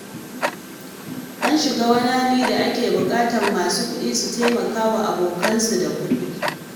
An shiga wani hali da ake buƙatar masu hali su taimakawa abokansu da kuɗi.